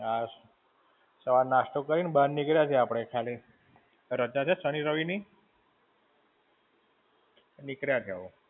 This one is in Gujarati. હાશ સવારે નાસ્તો કરીને બહાર નીકળ્યા છે આપણે ખાલી. રજા છે શનિ રવિ નહિ. નીકળ્યા છે હવે.